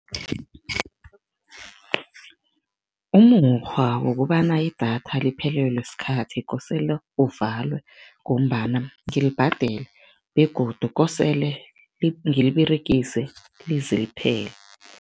Umukghwa wokobana idatha liphelelwe sikhathi kosele uvalwe ngombana ngilibhadele begodu kosele ngiliberegise lize liphele.